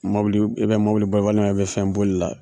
Mɔbili i bɛ mɔbili ba i bɛ fɛn bolila.